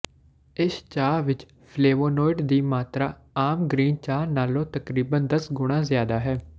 ਇਸ ਚਾਹ ਵਿੱਚ ਫਲੇਵੋਨੋਇਡ ਦੀ ਮਾਤਰਾ ਆਮ ਗ੍ਰੀਨ ਚਾਹ ਨਾਲੋਂ ਤਕਰੀਬਨ ਦਸ ਗੁਣਾਂ ਜ਼ਿਆਦਾ ਹੈ